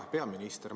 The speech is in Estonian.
Hea peaminister!